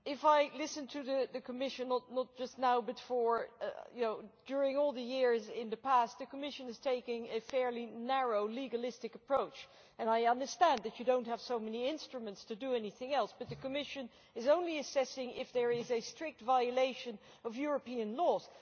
The thing is, listening to the Commission not just now but during all the years in the past the Commission is taking a fairly narrow legalistic approach, and I understand that it does not have that many instruments to do anything else, but the Commission is only assessing whether there is a strict violation of European Union laws.